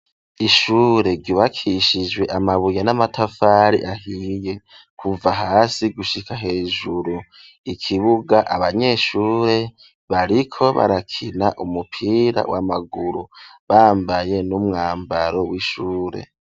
Ishure rybakishijwe amabuye n'amatafari ahiye kuva hasi gushika hejuru ikibuga abanyeshure bariko barakina umupira w'amaguru bambaye n'umwambaro w'ishure.